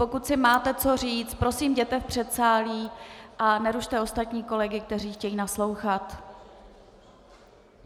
Pokud si máte co říct, prosím, jděte do předsálí a nerušte ostatní kolegy, kteří chtějí naslouchat.